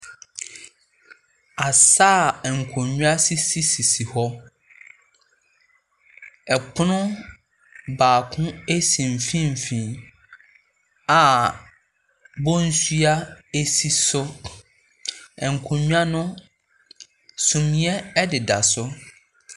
Asa a nkonnwa sisisisi hɔ, pono baako si mfimfin a bɔnsua si so, nkonnwa no, sunseɛ deda so.